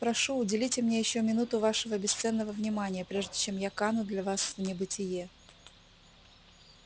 прошу уделите мне ещё минуту вашего бесценного внимания прежде чем я кану для вас в небытие